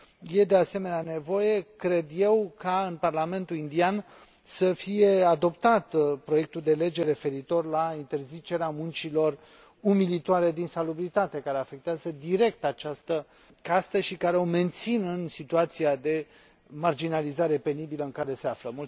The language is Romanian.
E de asemenea nevoie, cred eu, ca în Parlamentul indian să fie adoptat proiectul de lege referitor la interzicerea muncilor umilitoare din salubritate, care afectează direct această castă, și care o menține în situația de marginalizare penibilă în care se află.